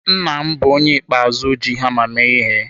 Nna m bụ onye ikpeazụ ji hama mee ihe.